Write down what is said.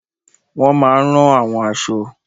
Wọ́n máa n rán àwọn aṣọ